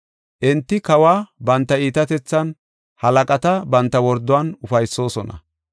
“Enti kawa banta iitatethan, halaqata banta worduwan ufaysoosona.